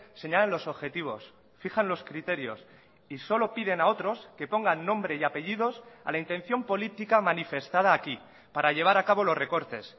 señalan los objetivos fijan los criterios y solo piden a otros que pongan nombre y apellidos a la intención política manifestada aquí para llevar a cabo los recortes